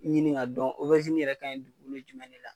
Ɲini k'a dɔn, yɛrɛ ka dugukolo jumɛn de la.